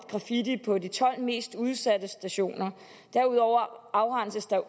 graffiti på de tolv mest udsatte stationer og derudover afrenses der